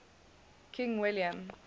king william